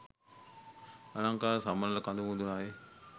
අලංකාර සමනොළ කඳු මුදුනයි.